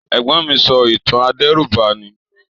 Ègbón mi so ìtàn adẹ̀rúbani.